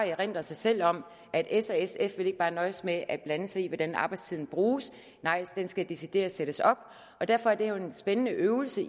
erindre sig selv om at s og sf ikke bare vil nøjes med at blande sig i hvordan arbejdstiden bruges nej den skal decideret sættes op derfor er det jo en spændende øvelse